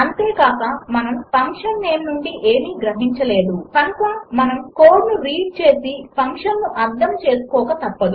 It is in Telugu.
అంతే కాక మనము ఫంక్షన్ నేమ్ నుండి ఏమీ గ్రహించలేము కనుక మనము కోడ్ను రీడ్ చేసి ఫంక్షన్ను అర్థం చేసుకోక తప్పదు